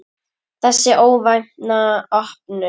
Þessi óvænta opnun